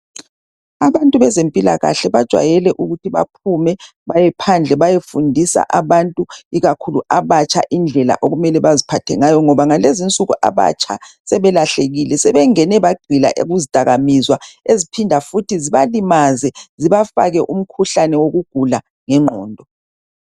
Abantu bezempilakahle bajwayele ukuthi baphume bayephandle bayefundisa abantu ikakhulu abatsha indlela okumele baziphathe ngayo ngoba ngalezi nsuku abatsha sebelahlekile sebengene bagxila kuzidakamizwa eziphinda futhi zibalimaze zibafake umkhuhlane wokugula ngengqondo.